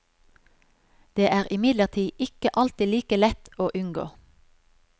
Det er imidlertid ikke alltid like lett å unngå.